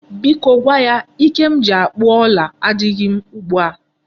Biko gwa ya Ike m ji akpụ ọla adịghị m ugbu a.